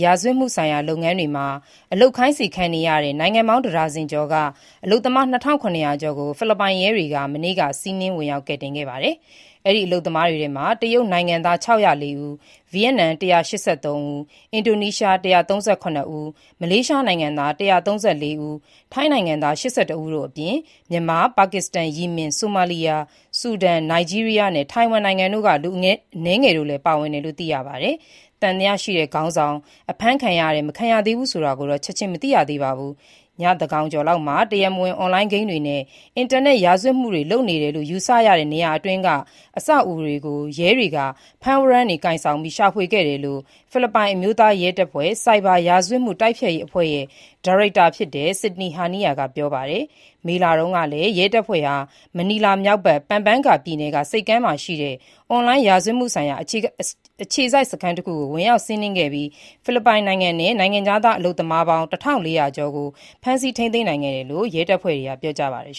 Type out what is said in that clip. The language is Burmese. ရာဇဝတ်မှုဆိုင်ရာ လုပ်ငန်းတွေမှာ အလုပ်ခိုင်းစေခံနေရတဲ့ နိုင်ငံပေါင်း တဒါဇင်ကျော်က အလုပ်သမား ၂,၇၀၀ ကျော်ကို ဖိလစ်ပိုင်ရဲတွေက မနေ့(ဇွန်၂၇ ရက်)က စီးနင်းဝင်ရောက် ကယ်တင်ခဲ့ပါတယ်။ အဲ့ဒီ အလုပ်သမားတွေထဲမှာ တရုတ်နိုင်ငံသား ၆၀၄ ဦး၊ ဗီယက်နမ် ၁၈၃ ဦး၊ အင်ဒိုနီးရှား ၁၃၇ ဦး၊ မလေးရှားနိုင်ငံသား ၁၃၄ ဦး၊ ထိုင်း ၈၁ ဦးတို့အပြင်၊ မြန်မာ၊ ပါကစ္စတန်၊ ယီမင်၊ ဆိုမာလီယာ၊ ဆူဒန်၊ နိုင်ဂျီးရီးယားနဲ့ ထိုင်ဝမ်တို့မှ လူအနည်းငယ်လည်း ပါဝင်တယ်လို့ သိရပါတယ်။ သံသယရှိတဲ့ ခေါင်းဆောင် အဖမ်းခံရတယ် မခံရသေးဘူးဆိုတာကိုတော့ ချက်ချင်း မသိရသေးပါဘူး။ ညသန်းခေါင်ကျော်လောက်မှာ တရားမ၀င်အွန်လိုင်းဂိမ်းတွေနဲ့ အင်တာနက် ရာဇ၀တ်မှုတွေ လုပ်တယ်လို့ ယူဆရတဲ့ နေရာအတွင်းက အဆောက်အဦတွေကို ရဲတွေက ဖမ်းဝရမ်းတွေ ကိုင်ဆောင်ပြီး ရှာဖွေခဲ့တယ်လို့ ဖိလစ်ပိုင် အမျိုးသား ရဲတပ်ဖွဲ့၊ ဆိုက်ဘာရာဇ၀တ်မှု တိုက်ဖျက်ရေးအဖွဲ့ရဲ့ ဒါရိုက်တာဖြစ်တဲ့ Sydney Hernia က ပြောပါတယ်။ မေလတုန်းကလည်း ရဲတပ်ဖွဲ့ဟာ မနီလာမြောက်ဘက် Pampanga ပြည်နယ်ရှိ Clark ဆိပ်ကမ်းရှိ အွန်လိုင်း ရာဇ၀တ်မှုဆိုင်ရာ အခြေစိုက်စခန်းတခုကို ဝင်ရောက်စီးနင်းခဲ့ပြီး ဖိလစ်ပိုင်နဲ့ နိုင်ငံခြားသားအလုပ်သမားပေါင်း ၁,၄၀၀ နီးပါးကို ဖမ်းဆီးထိန်းသိမ်းထားတယ်လို့ ရဲတပ်ဖွဲ့က ပြောကြားခဲ့ပါတယ်